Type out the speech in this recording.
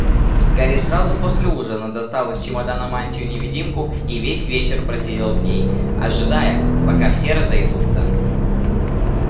гарри сразу после ужина достал из чемодана мантию-невидимку и весь вечер просидел в ней ожидая пока все разойдутся